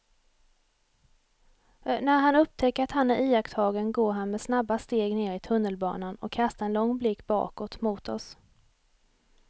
När han upptäcker att han är iakttagen går han med snabba steg ner i tunnelbanan och kastar en lång blick bakåt mot oss.